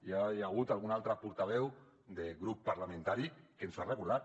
ja hi ha hagut algun altre portaveu de grup parlamentari que ens ho ha recordat